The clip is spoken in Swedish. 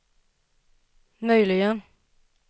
möjligen